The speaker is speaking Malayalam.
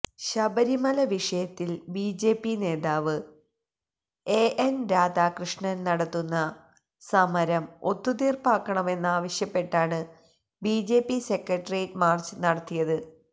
ശബരിമല വിഷയത്തില് ബിജെപി നേതാവ് എഎന് രാധാക്യഷ്ണന് നടത്തുന്ന സമരം ഒത്തുതീര്പ്പാക്കണമെന്നാവശ്യപ്പെട്ടാണ് ബിജെപി സെക്രട്ടറിയേറ്റ് മാര്ച്ച് നടത്തിയത്